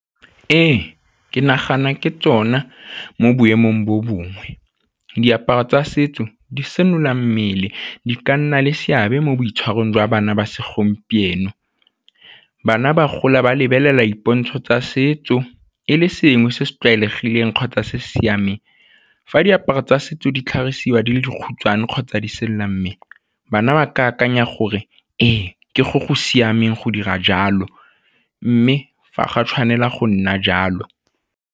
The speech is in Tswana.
Ee, ke nagana ke tsona mo boemong bo bongwe. Diaparo tsa setso di senola mmele di ka nna le seabe mo boitshwarong jwa bana ba segompieno. Bana ba gola ba lebelela dipontsho tsa setso e le sengwe se se tlwaelegileng kgotsa se siameng. Fa diaparo tsa setso di tlhagisiwa di le dikhutshwane kgotsa di bana ba ke akanya gore ee, ke go go siameng go dira jalo mme fa ga tshwanela go nna jalo.